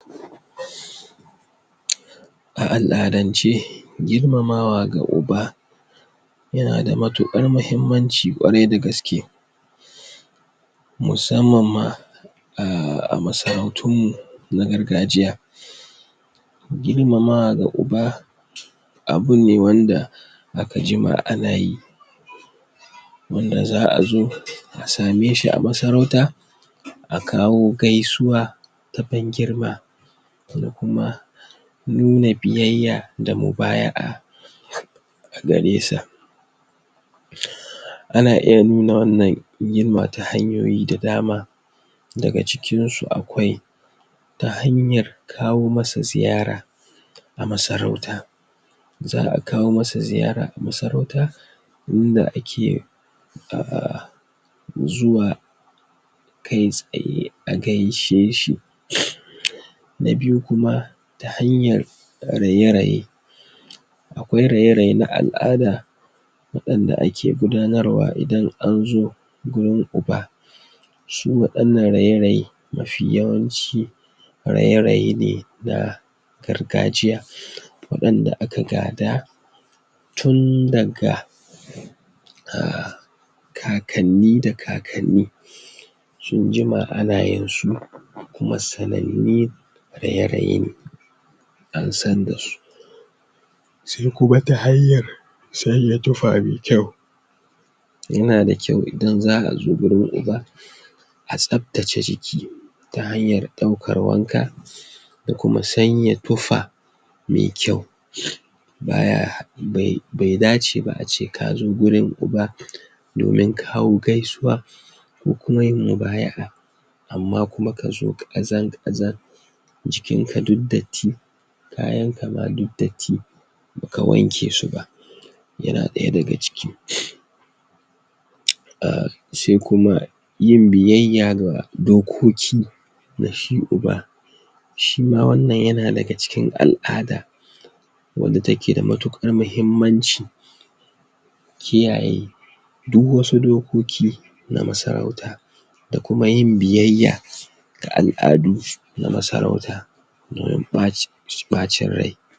A al'addance, girmamawa ga uba yana da mattuƙar mahimmanci ƙwarai da gaske musamman ma a masarautun mu na gargajiya girmamawa ga uba, abu ne wanda aka juma ana yi wanda za'a zo a same shi a masarauta, a kawo gaisuwa ta ban girma mu kuma, mune biyayya da mubayi'a ana iya nuna wannan girma ta hanyoyi da dama daga cikin su akwai ta hanya kawo masa ziyara a masarauta za''a kawo masa ziyara a masarauta wurin da ake zuwa kai tsaye a gaishe shi na biyu kuma ta hanyar raye raye akwai raye raye na al'ada wa‪ɗanda ake gudanarwa idan an zo gurin uba shi waɗanan raye raye mafi yawan shi raye raye ne na gargajiya waɗanda aka gada tun daga um kakanni da kakanni sun jima ana yin su kuma sananyu raye raye, an san da su sai kuma ta hanyar yana da kyau idan za'a zo gurin uba a tsaptace jiki ta hanyar ɗaukar wanka da kuma sanya tufa mai kyau bai dace ba a ce ka zo gurin uba domin kawo gaisuwa ko kuma yin mubayi'a amma kuma ka zo ƙazar ƙazar jikin ka duk datti, kayan ka ma duk datti baka wanke su ba, yana ɗaya daga cikin sai kuma yin biyayya ga dokoki na shi uba shi ma wannan yana daga cikin al'ada wanda take da muttuƙar mahimmanci kiyaye duk wasu dokoki na masarauta da kuma yin biyayya ga al'adu na masarauta ɓacin rai.